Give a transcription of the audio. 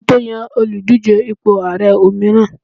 a ma to Yan Oludije ipo ààrẹ òmíràn